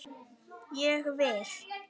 Ég vil!